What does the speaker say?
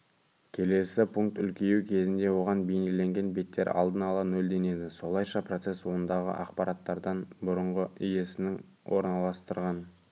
келесі пункт үлкеюі кезінде оған белгіленген беттер алдын ала нөлденеді солайша процесс ондағы ақпараттардан бұрынғы иесінің орналастырған